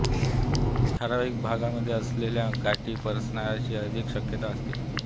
ठरावीक भागामध्ये असलेल्या गाठी पसरण्याची अधिक शक्यता असते